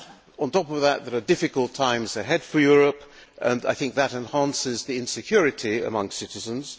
On top of that, there are difficult times ahead for Europe, and I think that enhances insecurity among citizens.